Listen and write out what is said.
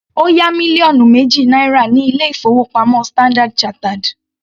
Ó yá mílíọ̀nù méjì náírà ní ilé-ìfowópamọ́ Standard chartered.